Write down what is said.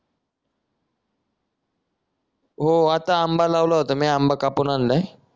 हो आता आंबा लावला होता मी आता आंबा कापून आणलाय